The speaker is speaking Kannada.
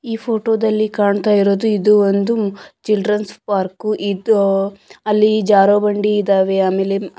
ಈ ಪೋಟದಲ್ಲಿ ಕಾಣ್ತಾಇರೊದು ಇದು ಒಂದು ಚಿಲ್ದ್ರೆನ್ಸ್ ಪಾರ್ಕ್ ಇದು ಅಲ್ಲಿ ಜಾರೊ ಬಂಡಿ ಇದಾವೆ ಆಮೇಲೆ_